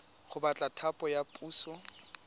go batla thapo ya puso